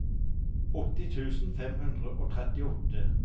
åtti tusen fem hundre og trettiåtte